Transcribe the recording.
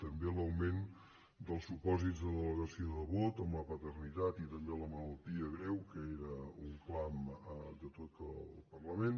també l’augment dels supòsits de delegació de vot amb la paternitat i també la malaltia greu que era un clam de tot el parlament